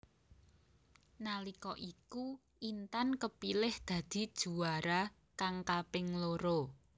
Nalika iku Intan kepilih dadi juwara kang kaping loro